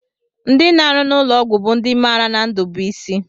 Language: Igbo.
Ndị na-arụ n'ụlọọgwụ bụ ndị maara na ndụ bụ isi